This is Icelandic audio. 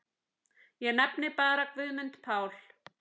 Ég nefni bara Guðmund Pál.